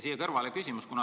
Siia kõrvale on mul küsimus.